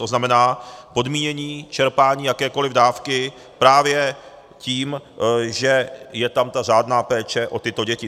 To znamená podmínění čerpání jakékoliv dávky právě tím, že je tam ta řádná péče o tyto děti.